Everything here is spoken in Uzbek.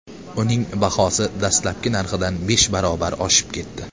Uning bahosi dastlabki narxidan besh barobar oshib ketdi.